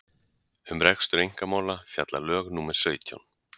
um rekstur einkamála fjalla lög númer sautján